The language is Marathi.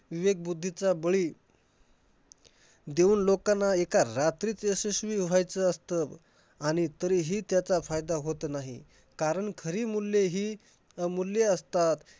विवेक बुद्धीचा बळी देऊन लोकांना एका रात्रीत यशस्वी व्हायचं असतं. आणि तरीही त्याचा फायदा होत नाही. कारण खरी मूल्य हि अमूल्य असतात.